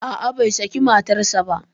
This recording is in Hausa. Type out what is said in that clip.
A'a, bai sake matarsa ba.